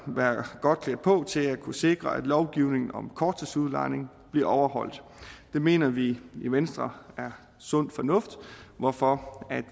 være godt klædt på til at kunne sikre at lovgivningen om korttidsudlejning bliver overholdt det mener vi i venstre er sund fornuft hvorfor